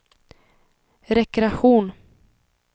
rekreation